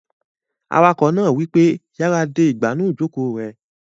Awakọ̀ náà wípé, "yára de ìgbànú ìjòkó rẹ!"